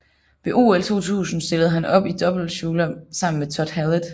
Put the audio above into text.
Ved OL 2000 stillede han op i dobbeltsculler sammen med Todd Hallett